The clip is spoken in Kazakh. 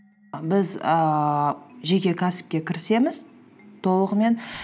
біз ііі жеке кәсіпке кірісеміз толығымен